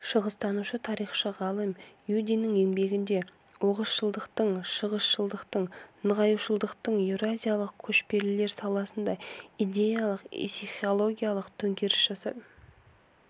шығыстанушы-тарихшы ғалым юдиннің еңбегінде оғызшылдықтың шыңғысшылдықтың ноғайшылдықтың еуразиялық көшпелілер санасында идеялық-исихологиялық төңкеріс жасап